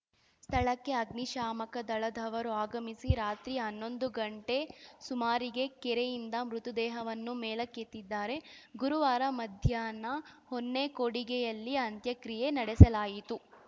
ಸ್ಥಳಕ್ಕೆ ಅಗ್ನಿಶ್ಯಾಮಕ ದಳದವರು ಆಗಮಿಸಿ ರಾತ್ರಿ ಹನ್ನೊಂದು ಗಂಟೆ ಸುಮಾರಿಗೆ ಕೆರೆಯಿಂದ ಮೃತದೇಹವನ್ನು ಮೇಲೆಕ್ಕೆತ್ತಿದ್ದಾರೆ ಗುರುವಾರ ಮಧ್ಯಾಹ್ನ ಹೊನ್ನೇಕೊಡಿಗೆಯಲ್ಲಿ ಅಂತ್ಯಕ್ರಿಯೆ ನಡೆಸಲಾಯಿತು